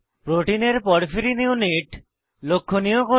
প্রোটিনের porphyrin porphyrin unit লক্ষনীয় করুন